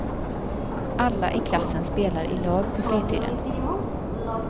Alla i klassen spelar i lag på fritiden.